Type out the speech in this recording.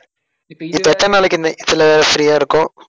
இப்ப, இப்ப எத்தன நாளைக்கு free ஆ இருக்கோம்